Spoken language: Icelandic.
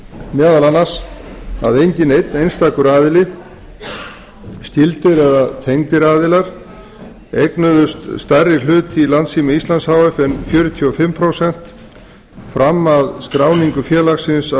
meðal annars að enginn einn einstakur aðili skyldir eða tengdir aðilar eignuðust stærri hlut í landssíma íslands h f en fjörutíu og fimm prósent fram að skráningu félagsins á